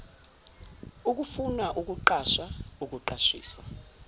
ukufuna ukuqasha ukuqashisa